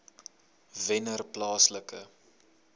wennerplaaslike